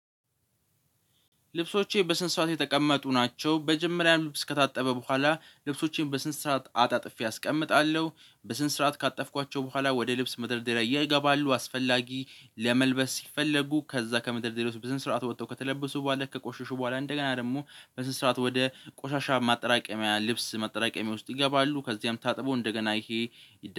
ልብሶቼ በስነስርዓት የተቀመጡ ናቸው። መጀመሪያ ልብስ ከታጠበ በኋላ ልብሶቼን በስነስርዓት አጣጥፌ አስቀምጣለሁ በስነስርዓት ካጠፍኳቸው በኋላ ወደ ልብስ መደርደሪያ ይገባሉ። አስፈላጊ ለመልበስ ሲፈልጉ ከዛ ከመደርደሪያው ወስጥ በስነስርዓቱ ወተው ከተለበሱ በኋላ ከቆሽሹ በኋላ እንደገና ደግሞ በስነስርዓቱ ወደ ቆሻሻ ማጠራቀሚያ ልብስ ማጠራቀሚያ ውስጥ ይገባሉ። ከዚያም ታጥቦ እንደገና ይሄ